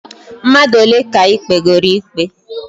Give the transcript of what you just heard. Mmadụ ole ka ị kpegooro ikpe?